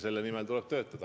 Selle nimel tuleb töötada.